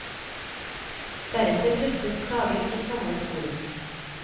Deretter drøftes klagen i samlet forum.